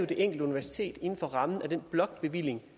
det enkelte universitet der inden for rammen af den blokbevilling